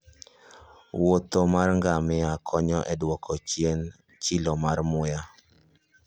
Wuoth mar ngamia konyo e duoko chien chilo mar muya.